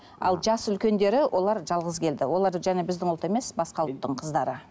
ал жасы үлкендері олар жалғыз келді олар және біздің ұлт емес басқа ұлттың қыздары